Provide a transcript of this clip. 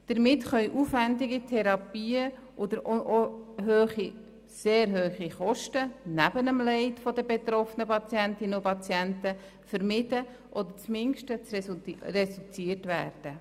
Damit können aufwendige Therapien und, neben dem Leid der betroffenen Patientinnen und Patienten, sehr hohe Kosten vermieden oder zumindest reduziert werden.